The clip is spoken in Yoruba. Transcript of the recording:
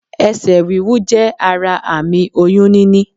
Esè wíwú jé ara àmì oyún níní